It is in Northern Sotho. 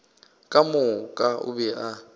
ka moka o be a